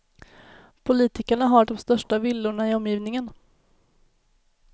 Politikerna har de största villorna i omgivningen.